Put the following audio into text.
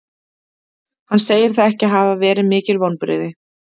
Hann segir það ekki hafa verið mikil vonbrigði.